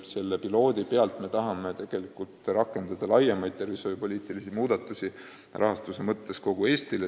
Selle piloodi tulemusel me tahame rakendada laiemaid tervishoiupoliitilisi muudatusi, mis puudutavad rahastust, kogu Eestis.